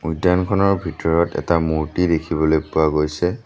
উদ্যানখনৰ ভিতৰত এটা মূৰ্ত্তি দেখিবলৈ পোৱা গৈছে।